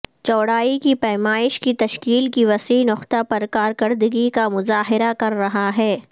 چوڑائی کی پیمائش کی تشکیل کی وسیع نقطہ پر کارکردگی کا مظاہرہ کر رہا ہے